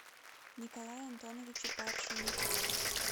николае антоновиче паршине